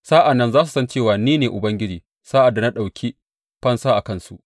Sa’an nan za su san cewa ni ne Ubangiji, sa’ad da na ɗauki fansa a kansu.